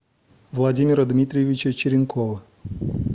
владимира дмитриевича черенкова